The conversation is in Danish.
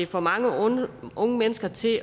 får mange unge unge mennesker til